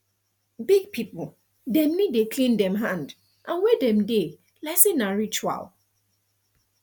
big people dem need dey clean dem hand and where dem dey like say na ritual